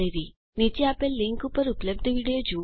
નીચે આપેલ લીંક ઉપર ઉપલબ્ધ વિડીઓ જુઓ